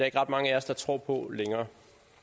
ikke ret mange af os der tror på længere